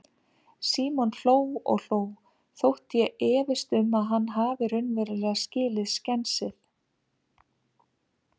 Símon hló og hló, þótt ég efist um að hann hafi raunverulega skilið skensið.